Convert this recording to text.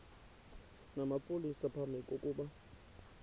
namapolisa phambi kokuba